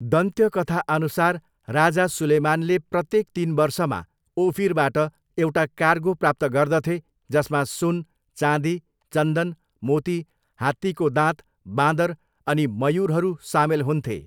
दन्त्यकथाअनुसार, राजा सुलेमानले प्रत्येक तिन वर्षमा ओफिरबाट एउटा कार्गो प्राप्त गर्दथे जसमा सुन, चाँदी, चन्दन, मोती, हात्तीको दाँत, बाँदर अनि मयुरहरू सामेल हुन्थे।